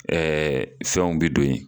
fɛnw bɛ don yen.